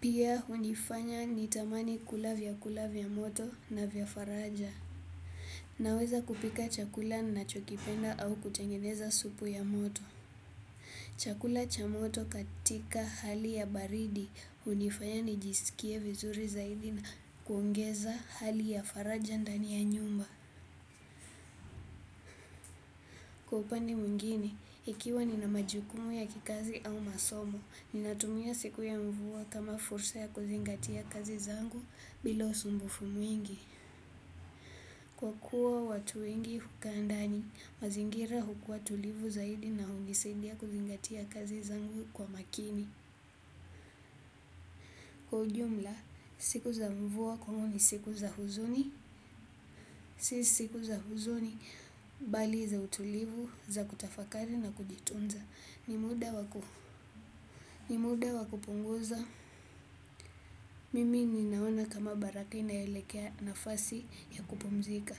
pia hunifanya nitamani kula vyakula vya moto na vya faraja. Naweza kupika chakula ninachokipenda au kutengeneza supu ya moto. Chakula cha moto katika hali ya baridi hunifanya nijisikie vizuri zaidi na kuongeza hali ya faraja ndani ya nyumba. Kwa upande mwingine, ikiwa nina majukumu ya kikazi au masomo, ninatumia siku ya mvua kama fursa ya kuzingatia kazi zangu bila usumbufu mwingi. Kwa kuwa watu wengi hukaa ndani, mazingira hukua tulivu zaidi na hunisaidia kuzingatia kazi zangu kwa makini. Kwa ujumla, siku za mvua kwangu ni siku za huzuni, si siku za huzuni, bali za utulivu, za kutafakari na kujitunza. Ni muda wa kupunguza mimi ninaona kama baraka inaelekea nafasi ya kupumzika.